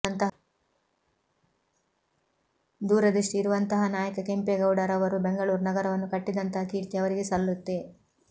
ದೂರದೃಷ್ಟಿ ಇರುವಂತಹ ನಾಯಕ ಕೆಂಪೇಗೌಡ ರವರು ಬೆಂಗಳೂರು ನಗರವನ್ನು ಕಟ್ಟಿದಂತಹ ಕೀರ್ತಿ ಅವರಿಗೆ ಸಲ್ಲುತ್ತೆ